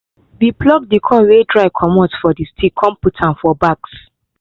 we pluck the corn wey dry comot for the stick con put am for bags